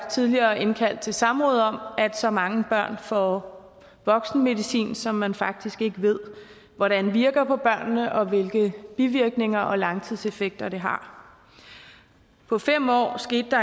tidligere indkaldt til samråd om at så mange børn får voksenmedicin som man faktisk ikke ved hvordan virker på børnene og hvilke bivirkninger og langtidseffekter det har på fem år skete der